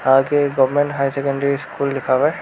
आगे government high secondary school लिखा हुआ है।